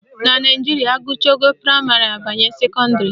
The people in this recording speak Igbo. Na Naijiria, agụcha ogo praịmarị abanye sekọndịrị